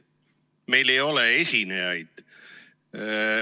Meil ei ole esinejaid.